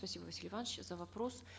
спасибо василий иванович за вопрос